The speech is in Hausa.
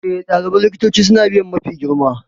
E, ɗaliban likitanci suna biya mafi girma.